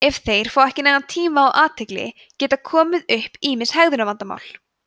ef þeir fá ekki nægan tíma og athygli geta komið upp ýmis hegðunarvandamál